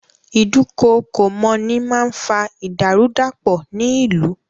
Ìdúkookòmọ́ni máa ń fa ìdàrúdàpọ̀ ní ìlú.